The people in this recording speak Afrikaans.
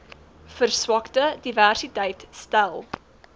verswakte diversiteit stel